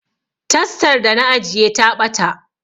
Tastar da na ajiye ta ɓata